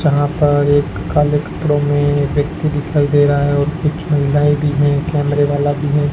यहां पर एक काले कपड़ों में व्यक्ति दिखाई दे रहा है और कुछ महिलाएं भी हैं कैमरे वाला भी है।